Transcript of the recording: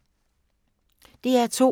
DR2